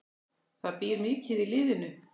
Það býr mikið í liðinu.